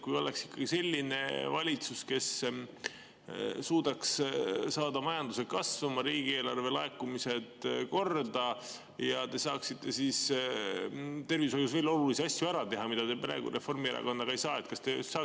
Kui oleks selline valitsus, kes suudaks saada majanduse kasvama ja riigieelarve laekumised korda, siis te saaksite tervishoius veel olulisi asju ära teha, mida te praegu Reformierakonnaga ei saa.